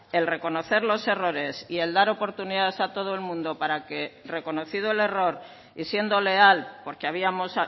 el reconocer los errores y el dar oportunidades a todo el mundo para que reconocido el error y siendo leal porque habíamos